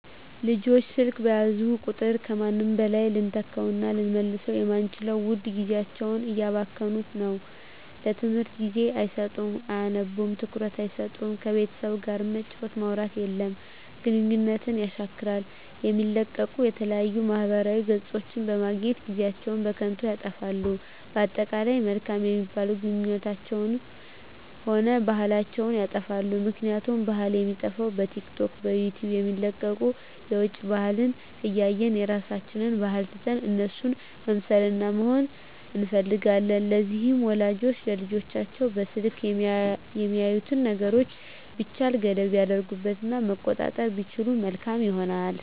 ልጆች ስልክ በያዙ ቁጥር ከምንም በላይ ልንተካዉእና ልንመልሰዉ የማንችለዉን ዉድ ጊዜያቸዉን እያባከኑት ነዉ ለትምህርት ጊዜ አይሰጡም አያነቡም ትኩረት አይሰጡም ከቤተሰብ ጋርም መጫወት ማዉራት የለም ግንኙነትን የሻክራል የሚለቀቁ የተለያዩ ማህበራዊ ገፆችን በማየት ጊዜአችን በከንቱ ይጠፋል በአጠቃላይ መልካም የሚባሉ ግንኙነታችንንም ሆነ ባህላችንንም ይጠፋል ምክንያቱም ባህል የሚጠፋዉ በቲክቶክ በዩቲዩብ የሚለቀቁትን የዉጭ ባህልን እያየን የራሳችንን ባህል ትተን እነሱን መምሰልና መሆን እንፈልጋለን ስለዚህ ወላጆች ለልጆቻቸዉ በስልክ የሚያዩትን ነገሮች ቢቻል ገደብ ቢያደርጉበት እና መቆጣጠር ቢችሉ መልካም ይሆናል